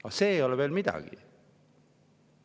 Aga see ei ole veel midagi.